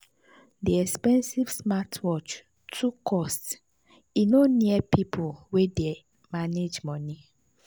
the expensive smartwatch too cost e no near people wey dey manage money.